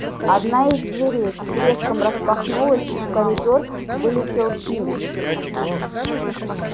одна из дверей с треском распахнулась и в коридор вылетел пивз